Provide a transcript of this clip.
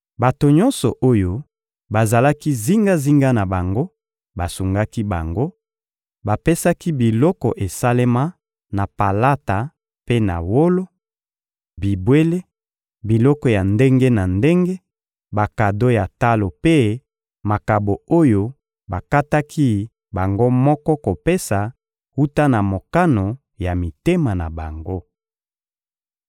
Bato nyonso oyo bazalaki zingazinga na bango basungaki bango; bapesaki biloko esalema na palata mpe na wolo, bibwele, biloko ya ndenge na ndenge, bakado ya talo mpe makabo oyo bakataki bango moko kopesa wuta na mokano ya mitema na bango.